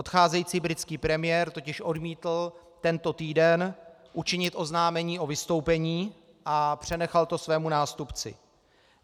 Odcházející britský premiér totiž odmítl tento týden učinit oznámení o vystoupení a přenechal to svému nástupci.